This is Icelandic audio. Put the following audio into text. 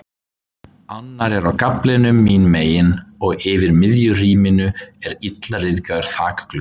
Annar er á gaflinum mín megin og yfir miðju rýminu er illa ryðgaður þakgluggi.